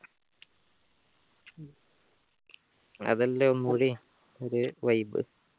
അതല്ലേ ഒരു vibe